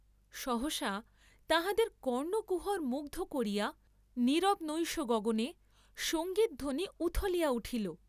সহসা তাঁহাদের কর্ণকুহর মুগ্ধ করিয়া নীরব নৈশ গগনে সঙ্গীতধ্বনি উথলিয়া উঠিল।